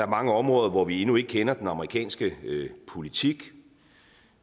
mange områder hvor vi endnu ikke kender den amerikanske politik